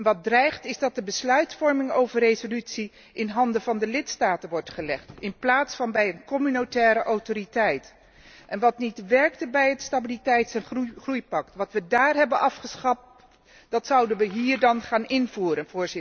Wat dreigt is dat de besluitvorming over de resolutie in handen van de lidstaten wordt gelegd in plaats van bij een communautaire autoriteit. En wat niet werkte bij het stabiliteits en groeipact, wat we daar hebben afgeschaft, zouden we hier dan gaan invoeren.